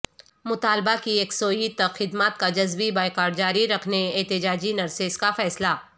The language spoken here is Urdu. مطالبہ کی یکسوئی تک خدمات کا جزوی بائیکاٹ جاری رکھنے احتجاجی نرسیس کا فیصلہ